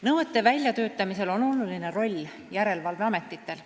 Nõuete väljatöötamisel on oluline roll järelevalveametitel.